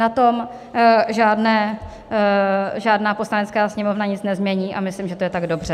Na tom žádná Poslanecká sněmovna nic nemění a myslím, že to je tak dobře.